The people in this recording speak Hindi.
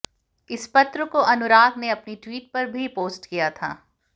इस पत्र को अनुराग ने अपने ट्वीट पर भी पोस्ट किया था